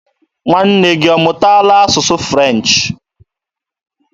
Nwanne gị ọ mụtaala asụsụ French?